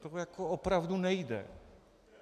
To jako opravdu nejde.